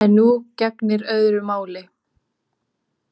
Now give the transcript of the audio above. En nú gegnir öðru máli.